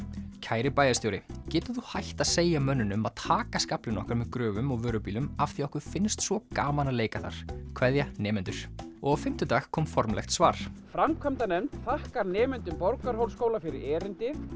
kæri bæjarstjóri getur þú hætt að segja mönnunum að taka skaflinn okkar með gröfum og vörubílum af því að okkur finnst svo gaman að leika þar kveðja nemendur og á fimmtudag kom formlegt svar framkvæmdanefnd þakkar nemendur Borgarhólsskóla fyrir erindið